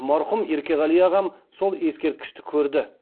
марқұм еркеғали ағам сол ескерткішті көрді